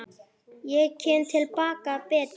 Ég kem til baka betri.